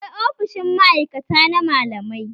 Akwai ofishin ma'aikata na malamai